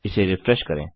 इसे रिफ्रेश करें